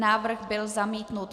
Návrh byl zamítnut.